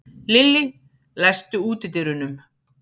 Lillý, læstu útidyrunum.